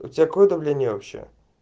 у тебя какое давление вообще